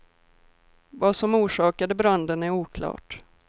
Vad som orsakade branden är oklart.